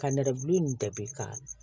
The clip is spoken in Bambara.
Ka nɛrɛgu in ka